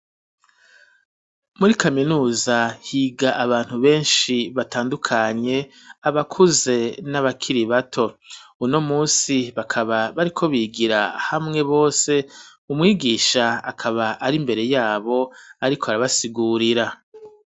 Muri kaminuza higa abantu benshi batandukanye abakuze n'abakiri bato, uno munsi bakaba bariko bigira hamwe bose umwigisha akaba ari mbere yabo ariko arabasigurira.